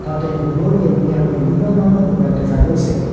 ইয়াতে Vivo Realme আৰু বিভিন্ন ধৰণৰ মোবাইল দেখা গৈছে।